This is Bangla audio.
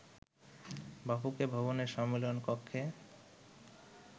বাফুফে ভবনের সম্মেলন কক্ষে